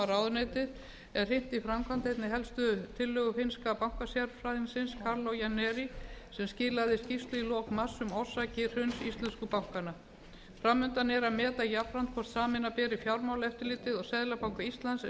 ráðuneytið er hrint í framkvæmd einnig helstu tillögu finnska bankasérfræðingsins kaarlo jännäri sem skilaði skýrslu í lok mars um orsakir hruns íslensku bankanna fram undan er að meta jafnframt hvort sameina beri fjármálaeftirlitið og seðlabanka íslands eins og